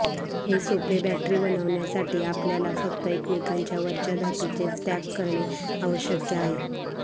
हे सोपे बॅटरी बनवण्यासाठी आपल्याला फक्त एकमेकांच्या वरच्या धातूचे स्टॅक करणे आवश्यक आहे